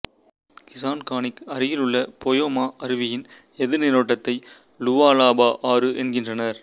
கிசன்கானிக்கு அருகிலுள்ள போயோமா அருவியின் எதிர்நீரோட்டத்தை லுவாலாபா ஆறு என்கின்றனர்